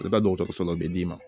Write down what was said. O bɛ taa dɔgɔtɔrɔso la o bɛ d'i ma